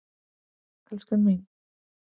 Elskan mín.